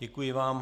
Děkuji vám.